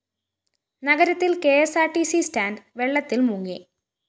നഗരത്തില്‍ K S R T C stand വെള്ളത്തില്‍ മുങ്ങി